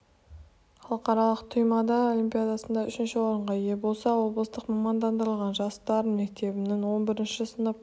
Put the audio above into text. халықаралық туймаада олимпиадасында үшінші орынға ие болса облыстық мамандандырылған жас дарын мектебінің он бірінші сынып